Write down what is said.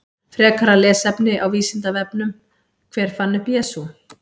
Frekara lesefni á Vísindavefnum: Hver fann upp Jesú?